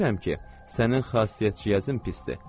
Bilirəm ki, sənin xasiyyətciyazın pisdir.